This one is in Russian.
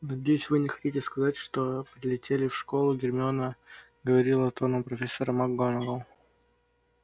надеюсь вы не хотите сказать что прилетели в школу гермиона говорила тоном профессора макгонагалл